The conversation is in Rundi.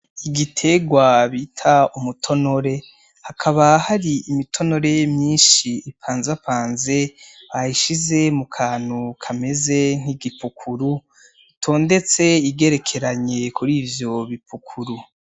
Igiterwa bita umutonore hakaba hari imitonore myinshi ipanzapanze bayishize ku kantu kameze nk’igipukuru itondetse igerekeranye kuri icyo bipukuru.